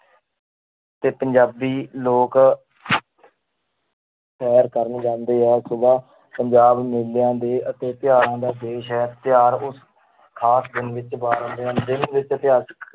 ਤੇ ਪੰਜਾਬੀ ਲੋਕ ਸ਼ੈਰ ਕਰਨ ਜਾਂਦੇ ਹੈ ਸੁਬ੍ਹਾ ਪੰਜਾਬ ਮੇਲਿਆਂ ਦੇ ਅਤੇ ਤਿਉਹਾਰਾਂ ਦਾ ਦੇਸ ਹੈ ਤਿਉਹਾਰ ਉਸ ਖ਼ਾਸ ਦਿਨ ਵਿੱਚ